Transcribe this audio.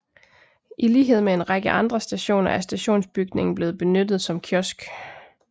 I lighed med en række andre stationer er stationsbygningen blevet benyttet som kiosk